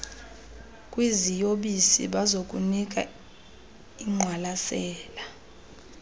kwiziyobisi banokunika ingqwalasela